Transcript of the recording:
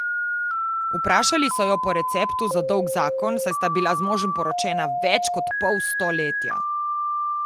Vprašali so jo po receptu za dolg zakon, saj sta bila z možem poročena več kot pol stoletja.